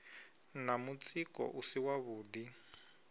na mutsiko u si wavhuḓi